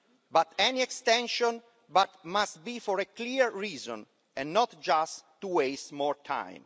But any extension must be for a clear reason and not just to waste more time.